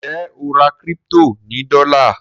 Njé o rà crypto ní dola?